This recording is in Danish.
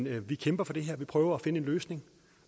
at vi kæmper for det her at vi prøver at finde en løsning